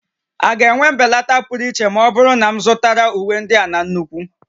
A ga-enwe mbelata pụrụ iche ma ọ bụrụ na m zụtara uwe ndị a na nnukwu?